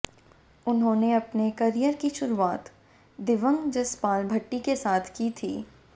उन्होंने अपने करियर की शरुआत दिवंग जसपाल भट्टी के साथ की थी